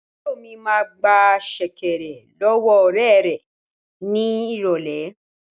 Àbúrò mi máa gba sẹ̀kẹ̀rẹ̀ lọ́wọ́ ọ̀rẹ́ rẹ̀ ní ìrọ̀lẹ́